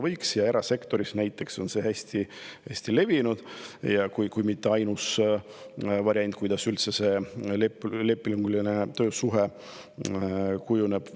Näiteks erasektoris on see väga levinud, kui mitte ainus variant, kuidas üldse see lepinguline töösuhe kujuneb.